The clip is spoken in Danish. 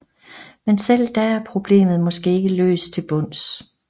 Men selv da er problemet måske ikke løs til bunds